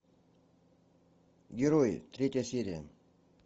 герои третья серия